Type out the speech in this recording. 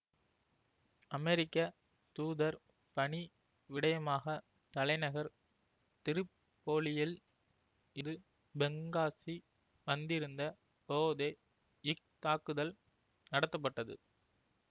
அமெரிக்க தூதர் பணி விடயமாக தலைநகர் திரிப்போலியில் இரு பெங்காசி வந்திருந்த போதே இத்தாக்குதல் நடத்தப்பட்டது